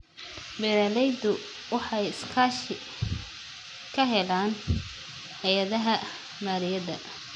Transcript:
Beeraleydu waxay iskaashi ka helaan hay'adaha maaliyadda.